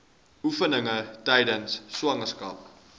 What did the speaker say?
oefeninge tydens swangerskap